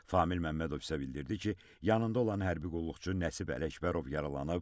Famil Məmmədov isə bildirdi ki, yanında olan hərbi qulluqçu Nəsib Ələkbərov yaralanıb.